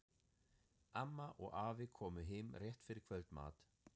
Amma og afi komu heim rétt fyrir kvöldmat.